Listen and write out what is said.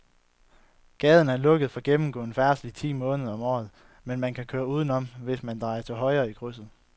Gaden er lukket for gennemgående færdsel ti måneder om året, men man kan køre udenom, hvis man drejer til højre i krydset.